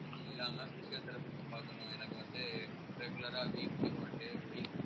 இல்லாம physiotherapist பாக்கணும் எனக்கு வந்து regular ஆ weekly one day week